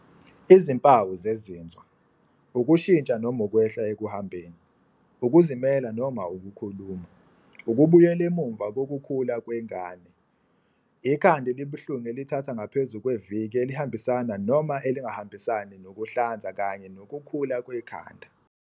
Izimpawu zezinzwa - Ukushintsha noma ukwehla ekuhambeni, ukuzimela noma ukukhuluma, ukubuyela emuva kokukhula kwengane, ikhanda elibuhlungu elithatha ngaphezu kweviki elihambisana noma elingahambisani nokuhlanza kanye nokukhula kwekhanda.